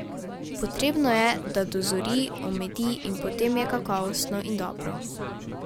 Potrebno je, da dozori, omedi, in potem je kakovostno in dobro.